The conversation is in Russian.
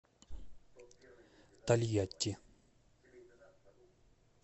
тольятти